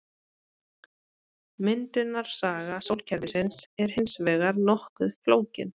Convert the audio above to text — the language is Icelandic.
Myndunarsaga sólkerfisins er hins vegar nokkuð flókin.